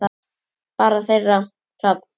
Barn þeirra: Hrafn.